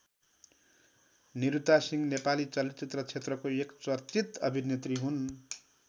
निरुता सिंह नेपाली चलचित्र क्षेत्रको एक चर्चित अभिनेत्री हुन्।